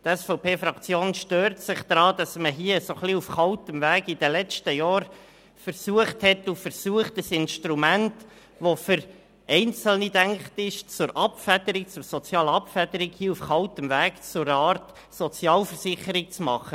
Die SVP-Fraktion stört sich daran, dass man hier in den letzten Jahren versucht hat und versucht, ein Instrument, das für Einzelne gedacht ist, auf kaltem Weg zur sozialen Abfederung, zu einer Art Sozialversicherung zu machen.